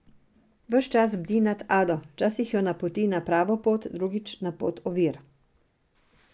Ves čas bdi nad Ado, včasih jo napoti na pravo pot, drugič na pot ovir.